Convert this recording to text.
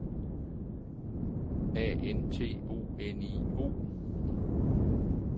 A N T O N I O